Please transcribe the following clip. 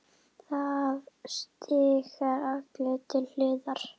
Það stíga allir til hliðar.